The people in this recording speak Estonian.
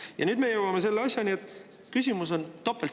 Ja nüüd me jõuame selle asjani, et küsimus on topeltstandardites.